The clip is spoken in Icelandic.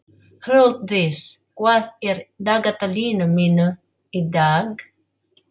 Hrólfdís, hvað er í dagatalinu mínu í dag?